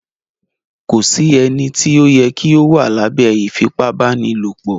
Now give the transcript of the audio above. Kò sí ènìtí o yẹ kí o wà lábẹ ífipabanilopo